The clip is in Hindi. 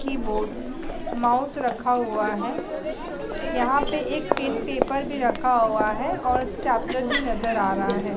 कीबोर्ड माउस रखा हुआ है। यहाँ पे एक पेन पेपर भी रखा हुआ है और स्टेपलर भी नज़र आ रहा है।